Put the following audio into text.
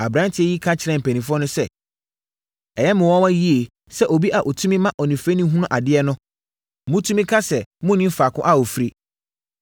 Aberanteɛ yi ka kyerɛɛ mpanimfoɔ no sɛ, “Ɛyɛ me nwanwa yie sɛ obi a ɔtumi ma onifirani hunu adeɛ no, motumi ka sɛ monnim faako a ɔfiri.